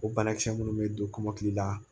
O banakisɛ minnu bɛ don kɔmɔkili la